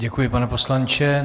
Děkuji, pane poslanče.